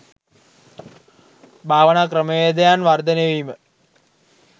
භාවනා ක්‍රමවේදයන් වර්ධනය වීම